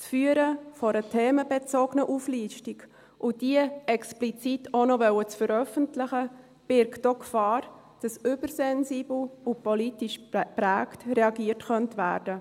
Das Führen einer themenbezogenen Auflistung, und diese explizit auch noch veröffentlichen zu wollen, birgt auch die Gefahr, dass übersensibel und politisch geprägt reagiert werden könnte.